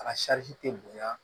A tɛ bonya